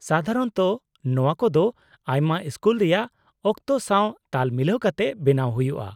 -ᱥᱟᱫᱷᱟᱨᱚᱱᱚᱛᱚ ᱱᱚᱶᱟ ᱠᱚᱫᱚ ᱟᱭᱢᱟ ᱥᱠᱩᱞ ᱨᱮᱭᱟᱜ ᱚᱠᱛᱚ ᱥᱟᱶ ᱛᱟᱞ ᱢᱤᱞᱟᱹᱣ ᱠᱟᱛᱮ ᱵᱮᱱᱟᱣ ᱦᱩᱭᱩᱜᱼᱟ ᱾